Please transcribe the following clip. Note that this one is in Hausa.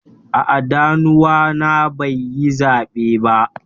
A'a, danuwa na bai yi zabe ba.